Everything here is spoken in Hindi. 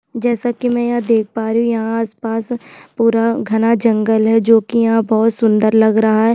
जैसा की में यहाँ देख प् रही हू यहाँ आस-पास पूरा घना जंगल है जो कि यहाँ बहोत सुन्दर लग रहा है।